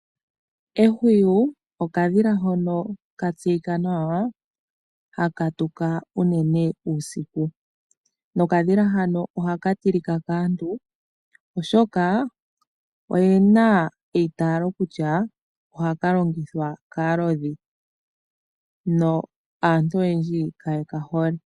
Ehwiyu okadhila hono katseyika nawa haka tuka unene uusiku. Okadhila hoka ohaka tilika unene kaantu oshoka oyena eitaalo kutya ohaka longithwa kaalodhi, aantu oyendji kaye ka hole.